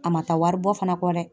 A ma taa wari bɔ fana kɔ dɛ.